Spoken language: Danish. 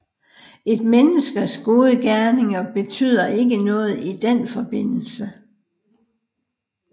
Et menneskes gode gerninger betyder ikke noget i den forbindelse